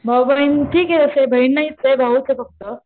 भाऊ बहीण ठीक आहे असं बहीण नाहीच आहे भाऊच आहे फक्त.